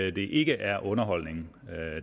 at det ikke er underholdning